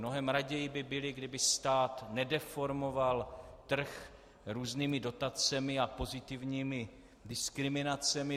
Mnohem raději by byli, kdyby stát nedeformoval trh různými dotacemi a pozitivními diskriminacemi.